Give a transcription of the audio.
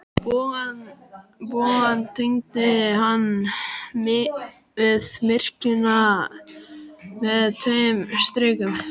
Bogann tengdi hann við kirkjuna með tveim strikum.